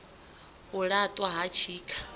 u la ṱwa ha tshikha